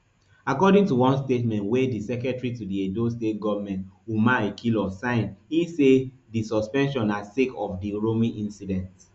according to one statement wey di secretary to di edo state goment umar ikhilor sign e say say di suspension na sake of di uromi incident